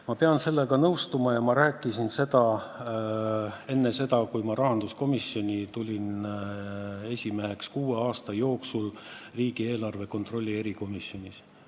Ma pean sellega nõustuma ja ma rääkisin seda enne seda, kui ma sain rahanduskomisjoni esimeheks, kuue aasta jooksul riigieelarve kontrolli erikomisjonis.